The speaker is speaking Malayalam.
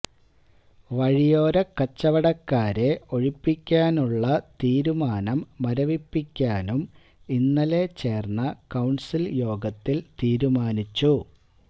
വഴിയോര കച്ചവടക്കാരെ ഒഴിപ്പിക്കാനുള്ള തീരുമാനം മരവിപ്പിക്കാനും ഇന്നലെ ചേര്ന്ന കൌണ്സില് യോഗത്തില് തീരൂമാനിച്ചു